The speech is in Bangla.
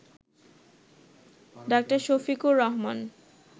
ডা. শফিকুর রহমান